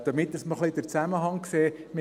Damit man ein wenig den Zusammenhang sieht: